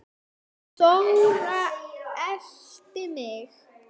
Þóra elti mig.